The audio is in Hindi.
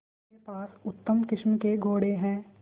मेरे पास उत्तम किस्म के घोड़े हैं